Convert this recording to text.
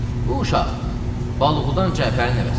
Bu uşaq Balğudan Cəfərin nəvəsidir.